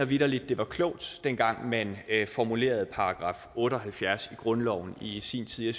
vitterlig det var klogt dengang man formulerede § otte og halvfjerds i grundloven i sin tid